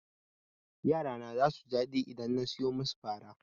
Yara na zasu ji daɗi idan na soya musu fara.